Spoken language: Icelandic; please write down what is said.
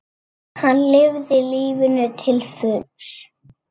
Hann lifði lífinu til fulls.